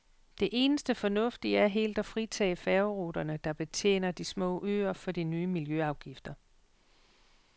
Det eneste fornuftige er helt at fritage færgeruterne, der betjener de små øer, for de nye miljøafgifter.